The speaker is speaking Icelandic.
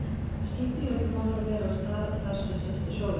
Það skiptir jú öllu máli að vera á stað þar sem sést til sólar.